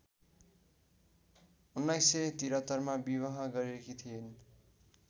१९७३ मा विवाह गरेकी थिइन्